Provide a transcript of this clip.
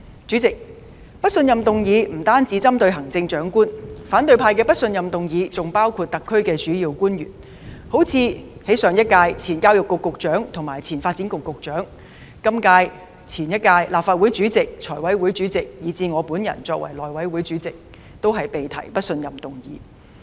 主席，不信任議案不單針對行政長官，反對派的不信任議案還包括特區政府的主要官員，例如前教育局局長及前發展局局長、上屆及本屆立法會主席、財務委員會主席，以至我作為內務委員會主席，均被提出不信任議案。